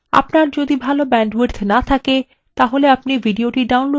আপনার যদি ভাল bandwidth না থাকে আপনি এটি download করেও দেখতে পারেন